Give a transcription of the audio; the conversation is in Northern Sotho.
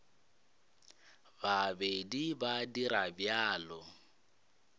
ba be ba dira bjalo